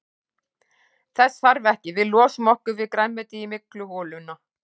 Þess þarf ekki, við losum okkur við grænmetið í mygluholuna.